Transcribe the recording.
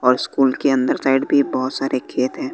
और स्कूल के अंदर साइड भी बहुत सारे खेत हैं।